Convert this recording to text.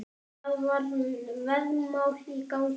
Það var veðmál í gangi.